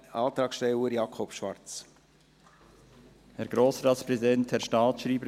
Antragsteller Jakob Schwarz, bitte.